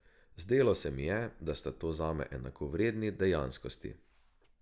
Zdelo se mi je, da sta zame to enakovredni dejanskosti.